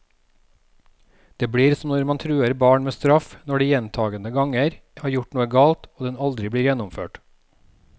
Det blir som når man truer barn med straff når de gjentagende ganger har gjort noe galt, og den aldri blir gjennomført.